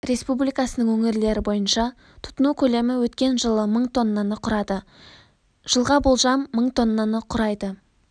республикасының өңірлері бойынша тұтыну көлемі өткен жылы мың тоннаны құрады жылға болжам мың тоннаны құрайды